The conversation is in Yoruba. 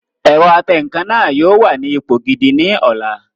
Ẹ̀rọ atẹǹkan náà yóò wà ní ipò gidi ní ọ̀la